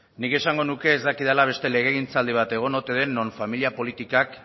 nik esango nuke ez dakidala beste legegintzaldi bat egon ote den non familia politikak